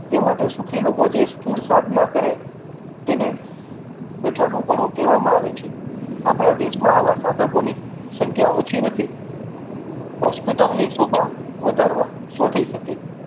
તે માટે સુખી લોકો જે ક્રૂર સાધના કરે તેને બેઠાળુંપણું કહેવામા આવે છે. આપણા દેશમાં આવા સાધકોની સંખ્યા ઓછી નથી hospital ની શોભા વધારવા શું થઇ શકે